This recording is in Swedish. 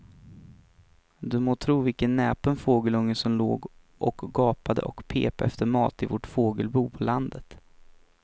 Du må tro vilken näpen fågelunge som låg och gapade och pep efter mat i vårt fågelbo på landet.